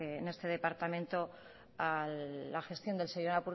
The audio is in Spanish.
en este departamento a la gestión del señor